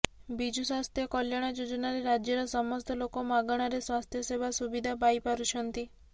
ବିଜୁ ସ୍ୱାସ୍ଥ୍ୟ କଲ୍ୟାଣ ଯୋଜନାରେ ରାଜ୍ୟର ସମସ୍ତ ଲୋକ ମାଗଣାରେ ସ୍ୱାସ୍ଥ୍ୟ ସେବା ସୁବିଧା ପାଇ ପାରୁଛନ୍ତି